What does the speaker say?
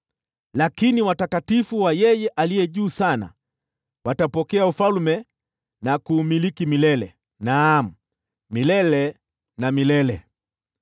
Lakini watakatifu wa Yeye Aliye Juu Sana watapokea ufalme na kuumiliki milele: naam, milele na milele.’